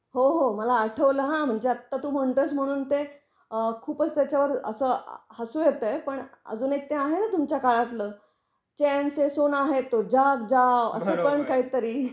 हो हो मला आठवलं हा, म्हणजे आता तु म्हणतो आहेस म्हणून ते खूपच त्याच्या वर अस हसू येत आहे, पण अजून एक ते आहेना तुमच्या काळातलं चैन से सोना है तो जाग जाओ अस पण काही तरी.